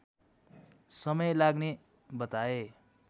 समय लाग्ने बताए